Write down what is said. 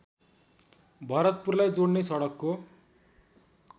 भरतपुरलाई जोडने सडकको